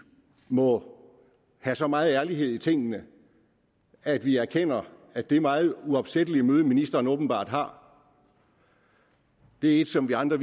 må have så meget ærlighed i tingene at vi erkender at det meget uopsættelige møde ministeren åbenbart har er et som vi andre